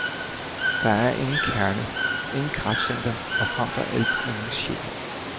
Der er ingen kerne, intet kraftcenter og frem for alt ingen sjæl.